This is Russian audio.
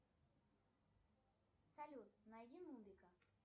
салют найди нубика